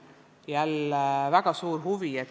Jälle on väga suur huvi.